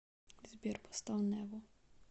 сбер поставь нерво